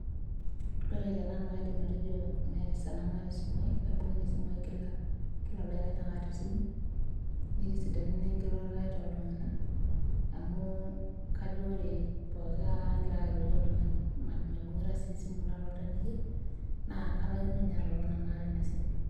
Ore tenanu aidim atejo meeta esaa nemaata esimu ai kaibung'ita esimu ai kila kila oldakikai naake aata esimu nitisidana naa enkiroroto aai toltung'anak amu kajo ore pooki kata aagira ake airorie oltung'ani, maibung'ita sii esimu natonita neija naa kalaikino nye atotona maibung'ita ina simu.